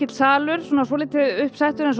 salur og svolítið uppsettur eins og